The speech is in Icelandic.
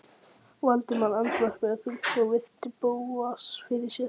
Valdimar andvarpaði þungt og virti Bóas fyrir sér.